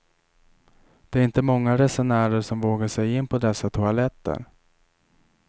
Det är inte många resenärer som vågar sig in på dessa toaletter.